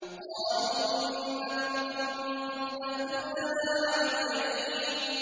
قَالُوا إِنَّكُمْ كُنتُمْ تَأْتُونَنَا عَنِ الْيَمِينِ